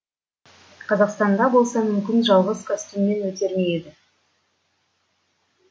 қазақстанда болса мүмкін жалғыз костюммен өтер ме еді